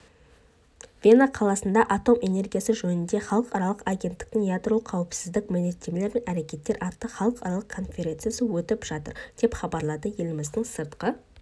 вена қаласында атом энергиясы жөніндегі халықаралық агенттіктің ядролық қауіпсіздік міндеттемелер мен әрекеттер атты халықаралық конференциясы өтіп жатыр деп хабарлады еліміз сыртқы